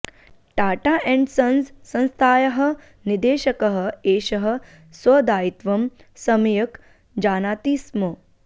Tata and sons संस्थायाः निदेशकः एषः स्वदायित्वं सम्यक् जानाति स्म